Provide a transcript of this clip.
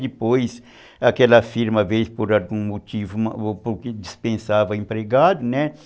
Depois aquela firma veio por algum motivo ou porque dispensava empregado, né?